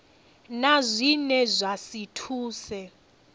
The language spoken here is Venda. na zwine zwa si thuse